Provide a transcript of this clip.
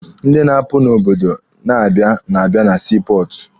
Ndị na-apụ n'obodo na-abịa na-abịa na sii pọọtụ.